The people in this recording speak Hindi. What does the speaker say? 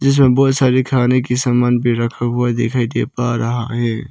जिसमें बहुत सारे खाने की समान भी रखा हुआ दिखाई दे पा रहा है।